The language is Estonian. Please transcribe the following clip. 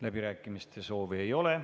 Läbirääkimiste soovi ei ole.